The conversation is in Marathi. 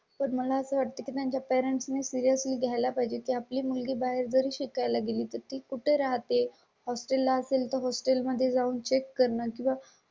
मला साठी त्यांच्या पॅरेंट्स मी सीरियस ली घ्याय ला पाहिजे. आपली मुलगी बाहेर जरी शिकाय ला गेली तर ती कुठे राहते? हॉस्टेल hostel ला असेल तर हॉस्टेल मध्ये जाऊन चेक करणं किंवा